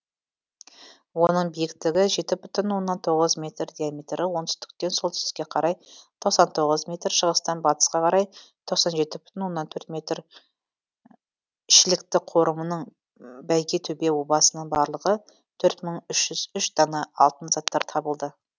оның биіктігі жеті бүтін оннан тоғыз метр диаметрі оңтүстіктен солтүстікке қарай тоқсан тоғыз метр шығыстан батысқа қарай тоқсан жеті бүтін оннан төрт метр шілікті қорымының бәйгетөбе обасынан барлығы төрт мың үш жүз үш дана алтын заттар табылды